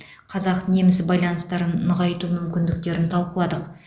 қазақ неміс байланыстарын нығайту мүмкіндіктерін талқыладық